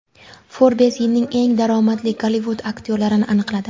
Forbes yilning eng daromadli Gollivud aktyorlarini aniqladi.